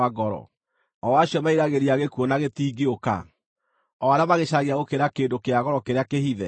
o acio meriragĩria gĩkuũ na gĩtingĩũka, o arĩa magĩcaragia gũkĩra kĩndũ kĩa goro kĩrĩa kĩhithe,